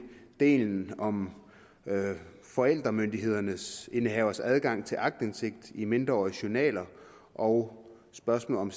delen om forældremyndighedsindehavers adgang til aktindsigt i mindreåriges journaler og spørgsmålet